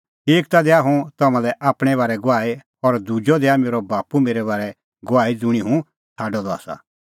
एक ता दैआ हुंह तम्हां लै आपणैं बारै गवाही और दुजअ दैआ मेरअ बाप्पू मेरै बारै गवाही ज़ुंणी हुंह छ़ाडअ द आसा